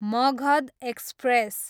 Magadh express